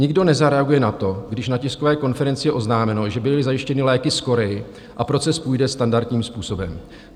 Nikdo nezareaguje na to, když na tiskové konferenci je oznámeno, že byly zajištěny léky z Koreji a proces půjde standardním způsobem.